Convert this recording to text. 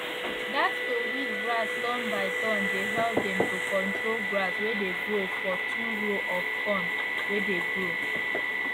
that to weed grass turn by turn dey help dem to control grass way dey for two row of corn way dey grow